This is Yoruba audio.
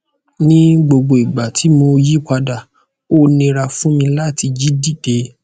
ni gbogbo igba ti mo yipada o nira fun mi lati jí dide